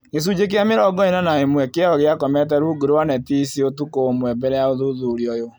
Gĩcunjĩ kĩa mĩrongo ĩna na ĩmwe kĩao gĩakomete rungu rwa neti ici ũtukũ ũmwe mbele ya ũthuthuria ũyũ